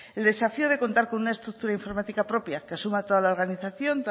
el desafío de contar con una estructura informática propia que asuma toda la organización